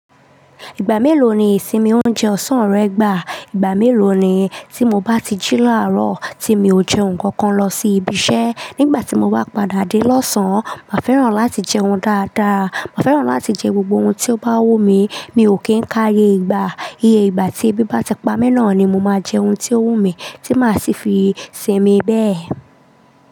Ìgbà mélòó ni ìsinmi oúnjẹ ọ̀sán rẹ gbà? Ìgbà mélòó ni? Tí mo bá ti jí làárọ̀, tí mi ò jẹ nǹkan kan lọ sí ibi iṣẹ́, nígbà tí mo bá padà dé lọ́sàn-án, màá fẹ́ràn láti jẹ oúnjẹ dáadáa. Màá fẹ́ràn láti jẹ gbogbo ohun tí ó bá wù mí, mi ò kí ń káyé ìgbà. Iye ìgbà tí ebi bá ti pamọ́ náà ni mo máa jẹ ohun tí ó wù mí tí màá sì fi sinmi bẹ́ẹ̀.